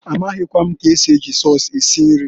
Amaghịkwa m k'esi eji sọs esi nri.